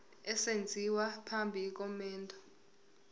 esenziwa phambi komendo